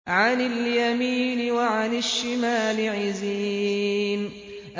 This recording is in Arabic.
عَنِ الْيَمِينِ وَعَنِ الشِّمَالِ عِزِينَ